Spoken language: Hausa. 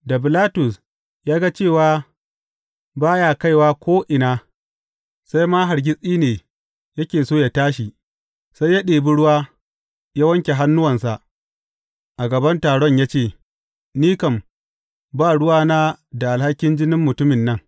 Da Bilatus ya ga cewa ba ya kaiwa ko’ina, sai ma hargitsi ne yake so yă tashi, sai ya ɗibi ruwa, ya wanke hannuwansa a gaban taron ya ce, Ni kam, ba ruwana da alhakin jinin mutumin nan.